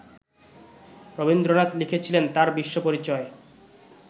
রবীন্দ্রনাথ লিখেছিলেন তাঁর বিশ্বপরিচয়